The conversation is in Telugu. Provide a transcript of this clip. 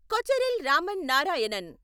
కొచెరిల్ రామన్ నారాయణన్